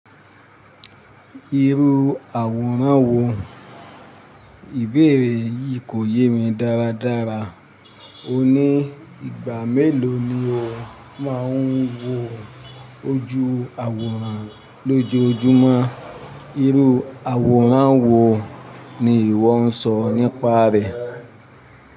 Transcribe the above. Irú àwòrán wo? Ìbéèrè yìí kò yé mi dáradára. Òní ìgbà mélòó ni o máa ń wo ojú àwòrán lójoojúmọ́? Irú àwòrán wo ni ìwọ ń sọ nípa rẹ̀?